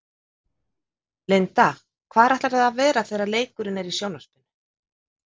Linda: Hvar ætlarðu að vera þegar leikurinn er í sjónvarpinu?